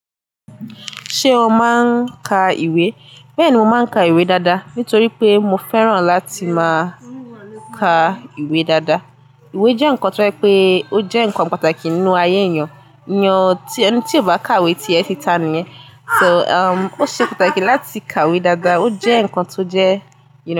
Ṣé o máa ń ka ìwé? Bẹ́ẹ̀ni, mo máa ń ka ìwé dáadáa, nítorí pé mo fẹ́ràn láti máa ka ìwé dáadáa. Ìwé jẹ́ nǹkan tó ń pe ó jẹ́ nǹkan pàtàkì nínú ayé èèyàn. Ẹeyan eni tí kò bá ka ìwé ti ẹ ti tá ni yẹn. So, o ṣe pàtàkì láti ka ìwé dáadáa, o jẹ́ nǹkan tó jẹ́